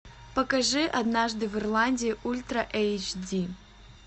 покажи однажды в ирландии ультра эйч ди